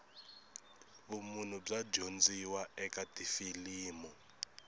vumunhu bya dyondziwa eka tifilimu